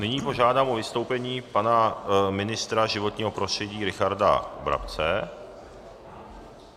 Nyní požádám o vystoupení pana ministra životního prostředí Richarda Brabce.